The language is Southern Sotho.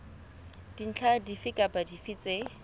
dintlha dife kapa dife tse